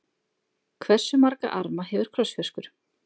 Hversu marga arma hefur krossfiskur?